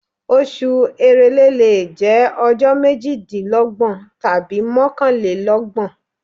Oṣù èrèlé lè jẹ́ ọjọ́ méjìdínlọ́gbọ̀n tàbí mọ́kànlélọ́gbọ̀n.